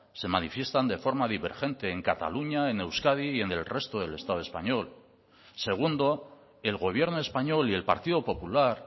se manifiestan de forma divergente en cataluña en euskadi y en el resto del estado español segundo el gobierno español y el partido popular